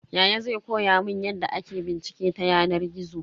Yaya zai koya mun yadda ake bincike ta yanar gizo.